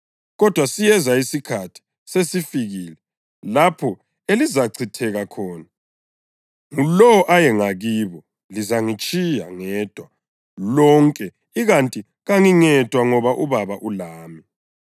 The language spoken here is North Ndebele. Kodwa siyeza isikhathi, sesifikile, lapho elizachitheka khona, ngulowo aye ngakibo. Lizangitshiya ngedwa lonke. Ikanti kangingedwa ngoba uBaba ulami.